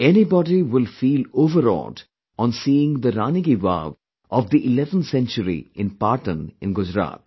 Anybody will feel overawed on seeing Rani Ki Vaav of the 11th Century in Patan in Gujarat